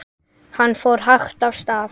Hann fór hægt af stað.